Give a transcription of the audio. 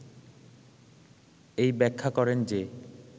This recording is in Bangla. এই ব্যাখ্যা করেন যে